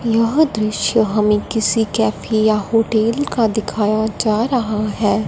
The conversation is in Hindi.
यह दृश्य हमें किसी कैफे या होटल का दिखाया जा रहा हैं।